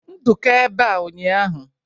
Nduka ebea ụnyahụ?